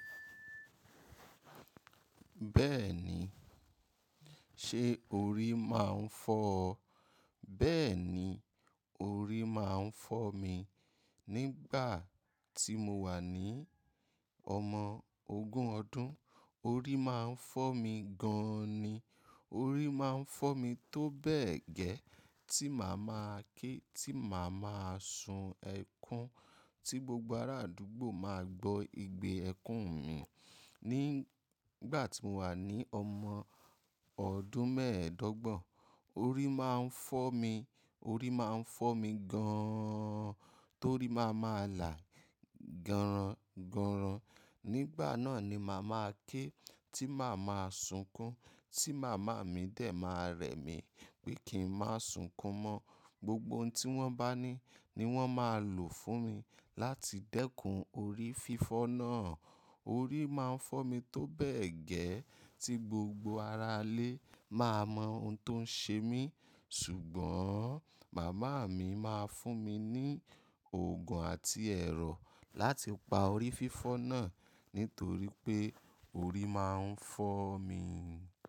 Bẹ́ẹ̀ni, ṣe orí máa ń fọ́ ọ? Bẹ́ẹ̀ni, orí máa ń fọ́ mi. Nígbà tí mo wà ní ọmọ ogún ọdún orí máa ń fọ́ mi gan-an ni. Orí máa ń fọ́ mi tó bẹ́ẹ̀ gẹ́ tí màá máa ké, tí màá máa sun ẹkún, tí gbogbo ará àdúgbò máa gbọ́ igbe ẹkún mi. Nígbà tí mo wà ní ọmọ ọdún mẹ́ẹ̀ẹ́dọ́gbọ̀n, orí máa ń fọ́ mi, orí máa ń fọ́ mi gan-an torí máa máa là gọ̀rọ̀ngọ̀rọ̀. Nígbà náà ni màá máa ké, tí màá máa sunkún, tí màmá mi dè máa rẹ̀ mí pé kí n má sunkún mọ́. Gbogbo ohun tí wọ́n bá ní ni wọ́n máa lò fún mi láti dẹ́kun orí fífọ́ náà. Orí máa ń fọ́ mi tó bẹ́ẹ̀ gẹ́ tí gbogbo ará ilé máa mọ ohun tó ń ṣe mí. Ṣùgbọ́n màmá mi máa fún mi ní òògùn àti ẹ̀rọ láti pa orí fífọ́ náà nítorí pé orí máa ń fọ́ mi.